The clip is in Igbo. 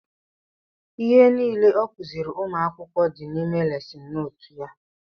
Ihe nile ọ kuziri ụmụ akwụkwọ dị n'ime lesin nootu ya